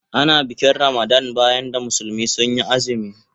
Ana bikin Ramadan bayan da musulmi sun yi azumi.